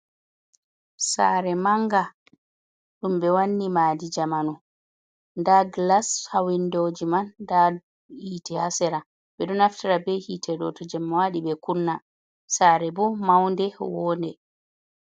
Sare manga, ɗumbe wanni madi jamanu da gilas ha windoji man, da hiti ha sera, beɗo naftara be hite ɗoto jemma wadi ɓe kunna. Sare bo maunde woɗe.